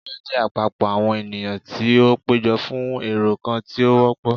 Ẹgbẹ jẹ apapọ awọn eniyan ti o pejọ fún ẹrọ kan ti o wọpọ.